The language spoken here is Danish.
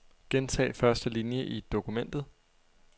Gentag første linie i dokumentet.